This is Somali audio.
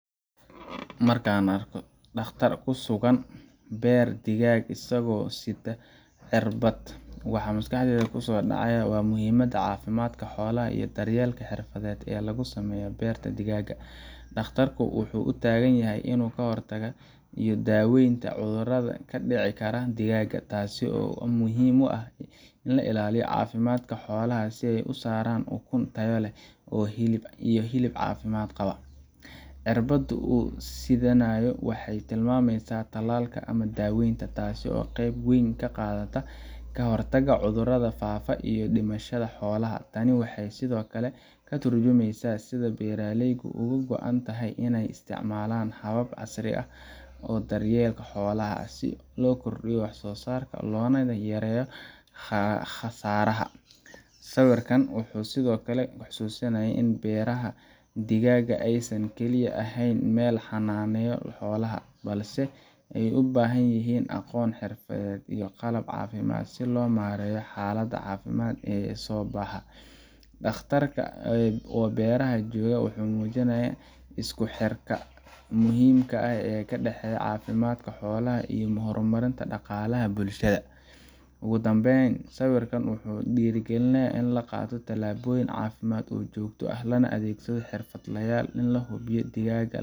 Markaan arko dhakhtar ku sugan beer digaag isagoo sita cirbad, waxa maskaxdayda kusoo dhacaya muhiimada caafimaadka xoolaha iyo daryeelka xirfadeed ee lagu sameeyo beerta digaaga. Dhakhtarku wuxuu u taagan yahay ka hortagga iyo daaweynta cudurrada ka dhici kara digaaga, taas oo muhiim u ah in la ilaaliyo caafimaadka xoolaha si ay u soo saaraan ukun tayo leh iyo hilib caafimaad qaba. Cirbadda uu sidanayo waxay tilmaamaysaa tallaalka ama daaweynta, taas oo qeyb weyn ka qaadata ka hortagga cudurrada faafa iyo dhimashada xoolaha. Tani waxay sidoo kale ka tarjumaysaa sida beeralaydu uga go’an tahay inay isticmaalaan hababka casriga ah ee daryeelka xoolaha, si loo kordhiyo wax soo saarka loona yareeyo khasaaraha. Sawirkan wuxuu sidoo kale xusuusinayaa in beeraha digaaga aysan kaliya ahayn meel la xannaaneeyo xoolaha, balse ay u baahan yihiin aqoon, xirfad iyo qalab caafimaad si loo maareeyo xaaladaha caafimaad ee soo baxa. Dhakhtarka oo beeraha joogaa wuxuu muujinayaa isku xirka muhiimka ah ee u dhexeeya caafimaadka xoolaha iyo horumarinta dhaqaalaha bulshada. Ugu dambeyn, sawirkan wuxuu dhiirrigelinayaa in la qaato tallaabooyin caafimaad oo joogto ah, lana adeegsado xirfadlayaal si loo hubiyo in digaaga